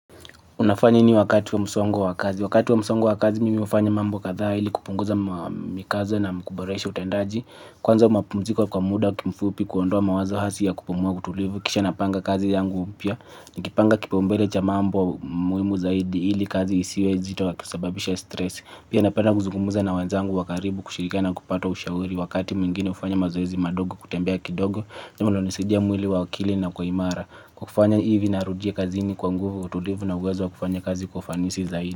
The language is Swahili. Unafanya nini wakati wa msongo wa kazi. Wakati wa msongo wa kazi mi hufanya mambo kadhaa hili kupunguza mikazo na kuboresha utendaji. Kwanza mapumziko kwa muda kimfupi kuondoa mawazo hasi ya kupumuwa utulivu. Kisha napanga kazi yangu upia. Nikipanga kipaumbele cha mambo muimu zaidi hili kazi isiwe zito ya kusababisha stress. Pia napenda kuzungumuza na wenzangu wa karibu kushirikana kupato ushauri. Wakati mwingine ufanya mazoezi madogo kutembea kidogo. Ndio wanaonisidia mwili wa akili inakuwa imara. Kwa kufanya hivi narudia kazini kwa nguvu wa utulivu na uwezo wa kufanya kazi kwa ufanisi zaidi.